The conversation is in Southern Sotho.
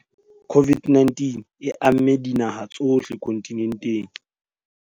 COVID-19 e amme dinaha tsohle kontinenteng.